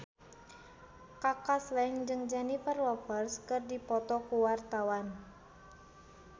Kaka Slank jeung Jennifer Lopez keur dipoto ku wartawan